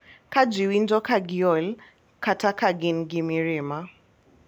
Ka ji winjo ka giol kata ka gin gi mirima,